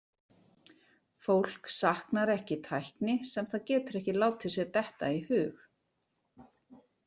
Fólk saknar ekki tækni sem það getur ekki látið sér detta í hug.